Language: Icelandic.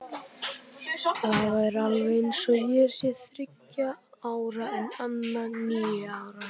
Það er alveg eins og ég sé þriggja ára en Anna níu ára.